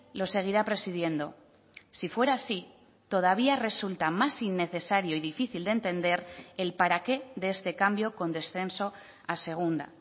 lo seguirá presidiendo si fuera así todavía resulta más innecesario y difícil de entender el para qué de este cambio con descenso a segunda